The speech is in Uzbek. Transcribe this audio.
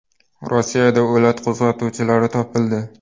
Rossiyada o‘lat qo‘zg‘atuvchilari topildi.